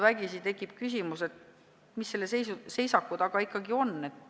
Vägisi tekib küsimus, mis selle seisaku taga ikkagi on.